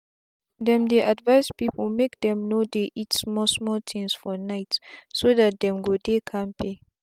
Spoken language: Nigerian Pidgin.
them dey advise people make dem no dey eat small small things for nightso that dem go dey kampe